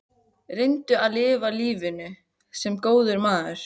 Reyndu að lifa lífinu- sem góður maður.